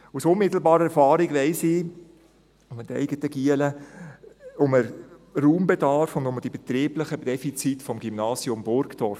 Aus unmittelbarer Erfahrung weiss ich mit meinen eigenen Jungen um den Raumbedarf und die betrieblichen Defizite des Gymnasiums Burgdorf.